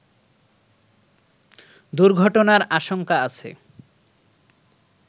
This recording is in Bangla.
দুর্ঘটনার আশঙ্কা আছে